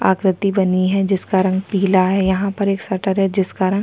आकृति बनी है जिसका रंग पीला है यहाँ पर एक शटर है जिसका रंग --